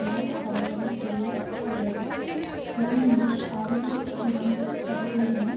நாட்டுப் படைகளை திரும்ப பெறுவதற்கு ஜெர்மனியில் அறுபத்தி இரண்டு சதவிகிதமும்